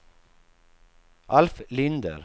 Alf Linder